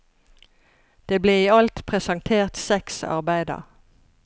Det ble i alt presentert seks arbeider.